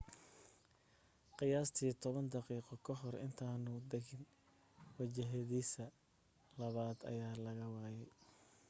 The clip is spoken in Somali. qiyaastii toban daqiiqo kahor intaanu dagin wajihidiisa labaad ayaa la waayay